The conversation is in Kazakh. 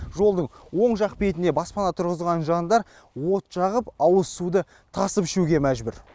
жолдың оң жақ бетінде баспана тұррғызған жандар от жағып ауыз суды тасып ішуге мәжбүр